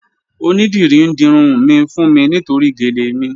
Onídírí n dírun mi fún mi nítorí géle mi.